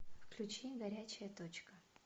включи горячая точка